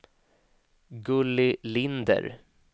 Gulli Linder